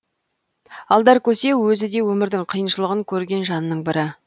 алдар көсе өзі де өмірдің қиыншылығын көрген жанның бірі